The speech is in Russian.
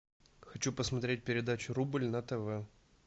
хочу посмотреть передачу рубль на тв